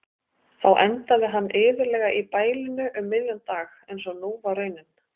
Þá endaði hann iðulega í bælinu um miðjan dag einsog nú var raunin.